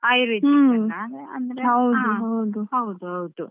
ಹಾ ಒಳ್ಳೆದುಂಟಾಪ್ಪ ಈಗ operation ಅಂಥದಕ್ಕೆಲ್ಲ English medicine best Ayurvedic ಕ್ಕಿಂತ.